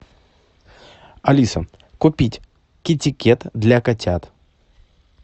алиса купить китикет для котят